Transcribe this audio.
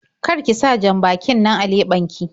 Kar ki sa jan-bakin nan a leɓen ki.